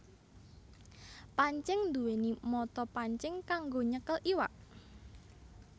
Pancing nduwèni mata pancing kanggo nyekel iwak